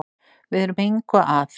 Við erum engu að